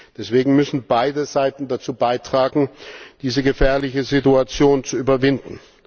Deswegen müssen beide Seiten dazu beitragen, diese gefährliche Situation zu überwinden.